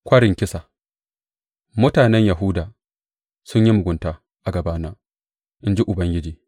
Kwarin kisa Mutanen Yahuda sun yi mugunta a gabana, in ji Ubangiji.